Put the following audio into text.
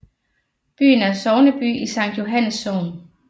Byen er sogneby i Sankt Johannes Sogn